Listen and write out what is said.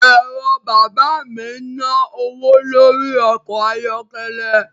Ẹ̀rọ bàbá mi ń ná owó lórí ọkọ̀ ayọ́kẹ́lẹ́